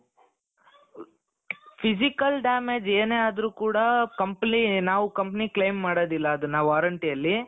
physical damage ಏನೇ ಆದ್ರೂ ಕೂಡಾ company ನಾವ್ company claim ಮಾಡೋದಿಲ್ಲಾ ಅದುನ್ನ warrantyಯಲ್ಲಿ.